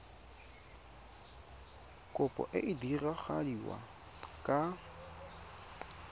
kopo e e diragadiwa ka